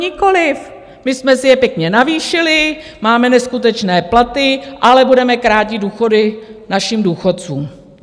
Nikoliv, my jsme si je pěkně navýšili, máme neskutečné platy, ale budeme krátit důchody našim důchodcům.